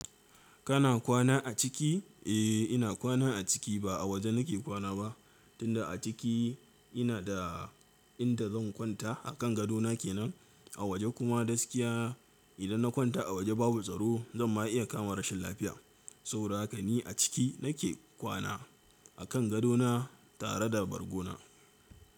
Kana kwana a ciki? Eh ina kwana a ciki ba a waje nake kwana ba, tunda a ciki ina da inda zan kwanta a kan gadona kenan. A waje kuma gaskiya idan na kwanta a waje babu tsaro zan ma iya kama rashin lafiya, sau da haka ni a ciki nake kwana. A kan gadona tare da bargona.